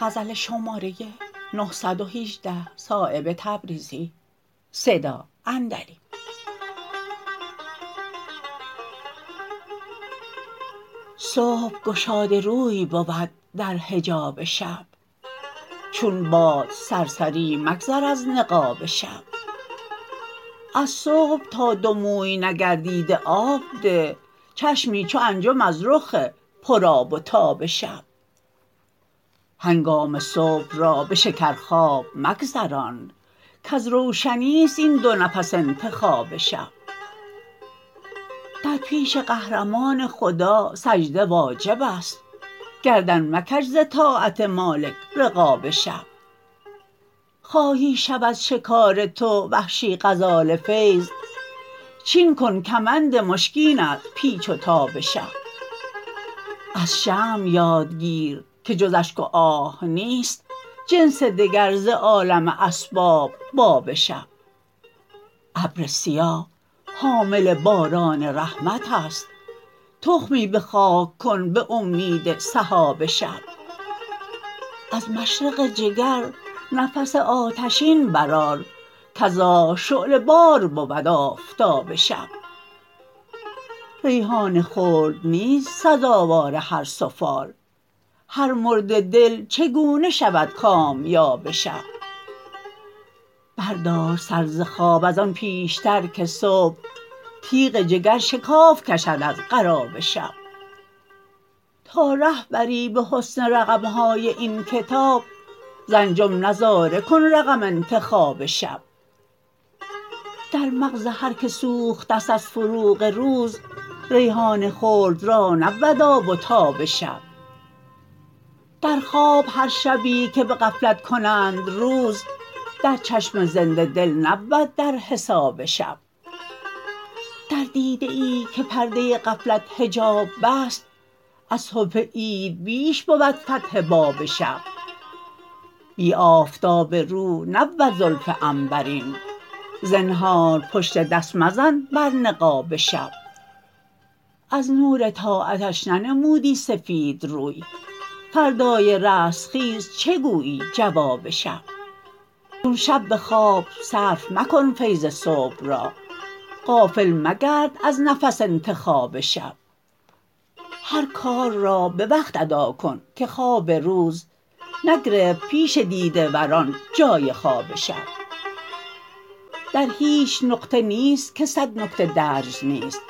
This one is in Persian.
صبح گشاده روی بود در حجاب شب چون باد سرسری مگذر از نقاب شب از صبح تا دو موی نگردیده آب ده چشمی چو انجم از رخ پر آب و تاب شب هنگام صبح را به شکر خواب مگذران کز روشنی است این دو نفس انتخاب شب در پیش قهرمان خدا سجده واجب است گردن مکش ز طاعت مالک رقاب شب خواهی شود شکار تو وحشی غزال فیض چین کن کمند مشکین از پیچ و تاب شب از شمع یاد گیر که جز اشک و آه نیست جنس دگر ز عالم اسباب باب شب ابر سیاه حامل باران رحمت است تخمی به خاک کن به امید سحاب شب از مشرق جگر نفس آتشین برآر کز آه شعله بار بود آفتاب شب ریحان خلد نیست سزاوار هر سفال هر مرده دل چگونه شود کامیاب شب بردار سر ز خواب ازان پیشتر که صبح تیغ جگر شکاف کشد از قراب شب تا ره بری به حسن رقم های این کتاب ز انجم نظاره کن رقم انتخاب شب در مغز هر که سوخته است از فروغ روز ریحان خلد را نبود آب و تاب شب در خواب هر شبی که به غفلت کنند روز در چشم زنده دل نبود در حساب شب در دیده ای که پرده غفلت حجاب بست از صبح عید بیش بود فتح باب شب بی آفتاب رو نبود زلف عنبرین زنهار پشت دست مزن بر نقاب شب از نور طاعتش ننمودی سفید روی فردای رستخیز چه گویی جواب شب چون شب به خواب صرف مکن فیض صبح را غافل مگرد از نفس انتخاب شب هر کار را به وقت ادا کن که خواب روز نگرفت پیش دیده ور ان جای خواب شب در هیچ نقطه نیست که صد نکته درج نیست